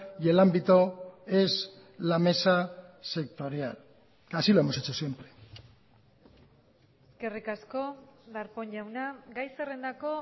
y el ámbito es la mesa sectorial así lo hemos hecho siempre eskerrik asko darpón jauna gai zerrendako